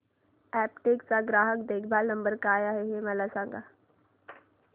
Aptech चा ग्राहक देखभाल नंबर काय आहे मला सांग